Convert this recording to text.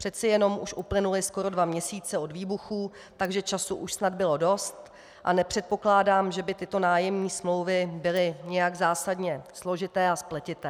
Přece jenom už uplynuly skoro dva měsíce od výbuchů, takže času už snad bylo dost a nepředpokládám, že by tyto nájemní smlouvy byly nějak zásadně složité a spletité.